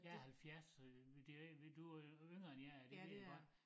Jeg 70 så det du er jo yngre end jeg er det ved jeg godt